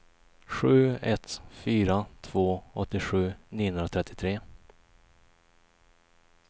sju ett fyra två åttiosju niohundratrettiotre